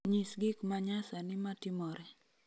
nyis gik ma nyasani matimore